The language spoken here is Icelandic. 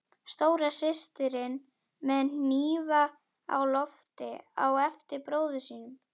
Stóra systirin með hnífa á lofti á eftir bróður sínum.